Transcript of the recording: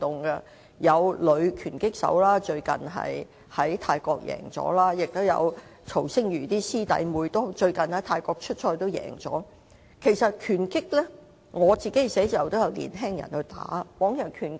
例如最近有女拳擊手在泰國賽事勝出，曹星如的師弟師妹最近在泰國出賽時也有勝出，在我辦事處工作的年青人亦有參與拳擊運動。